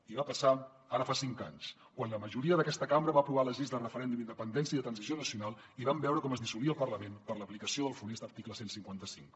i va passar ara fa cinc anys quan la majoria d’aquesta cambra va aprovar les lleis de referèndum d’independència i de transició nacional i vam veure com es dissolia el parlament per l’aplicació del funest article cent i cinquanta cinc